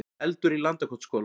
Eldur í Landakotsskóla